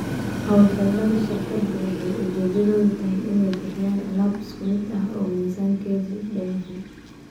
Hawlgallada shirkadu waxay ujeedadoodu tahay inay bixiyaan alaab isku mid ah oo miisaankeedu dhan yahay.